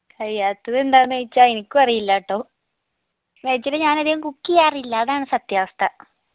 കയ്യാത്ത എന്താന്നൊയിച്ചാ എനിക്കു അറിയില്ലാട്ടോ actually ഞാൻ അധികം cook ചെയ്യാറില്ല അതാണ് സത്യാവസ്ഥ